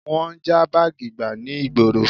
Wọ́n ń já báàgì gbà ní ìgboro